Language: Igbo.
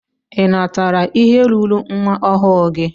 Ị natara ihe ruuru nwa ọhụụ gị?